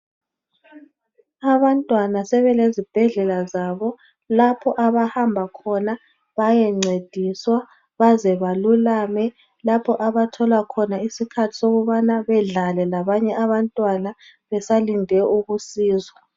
Abantwana sebelezibhedlela zabo lapho abahamba khona bayencediswa baze balulame lapho abathola khona isikhathi sokubana bedlale labanye abantwana besalinde ukusizwa.